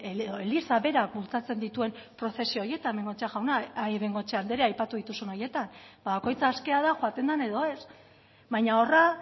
edo eliza berak bultzatzen dituen prozesio horietan bengoechea andrea aipatu dituzun horietan ba bakoitzak aske da joaten den edo ez baino horra